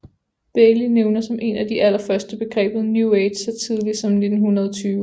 Bailey nævner som en af de allerførste begrebet New Age så tidligt som 1920